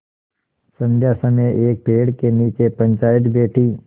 संध्या समय एक पेड़ के नीचे पंचायत बैठी